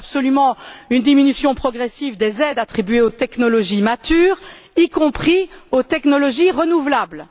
Il nous faut absolument une diminution progressive des aides attribuées aux technologies matures, y compris aux technologies renouvelables.